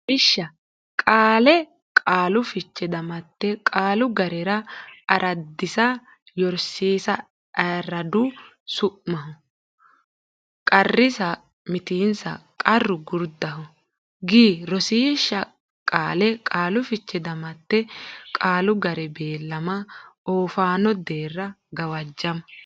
Lawishsha Qaale Qaalu Fiche Damatte Qaalu ga re araadisa yorsiisa araad su maho s qarrisa mitiinsa qarr gurdaho g Rosiishsha Qaale Qaalu Fiche Damatte Qaalu ga re bellama oofaano deerra gawajjama.